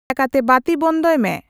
ᱫᱟᱭᱟ ᱠᱟᱛᱮ ᱵᱟᱹᱛᱤ ᱵᱚᱱᱫᱷᱚᱭ ᱢᱮ